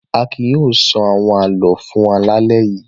Akin yóò sọ àwọn àlọ́ fún wa lálẹ́ yìí.